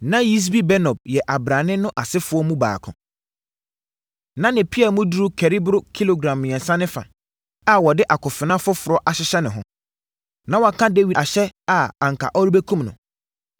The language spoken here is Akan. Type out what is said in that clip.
Na Yisbi-Benob yɛ abrane no asefoɔ mu baako. Na ne pea mu duru kari boro kilogram mmiɛnsa ne fa, a wɔde akofena foforɔ ahyehyɛ ne ho. Na waka Dawid ahyɛ a anka ɔrebɛkum no.